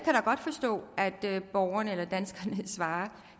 kan da at borgerne danskerne svarer